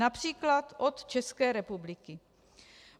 Například od České republiky.